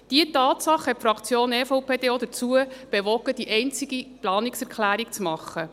Diese Tatsache hat die EVP-Fraktion dazu bewogen, ihre einzige Planungserklärung zu verfassen.